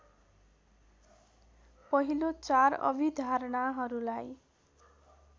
पहिलो चार अभिधारणाहरूलाई